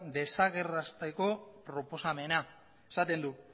desagertarazteko proposamena esaten du